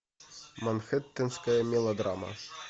манхэттенская мелодрама